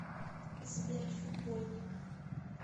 сбер футбольник